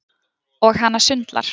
Og hana sundlar.